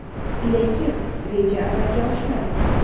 Lekin, reja amalga oshmadi.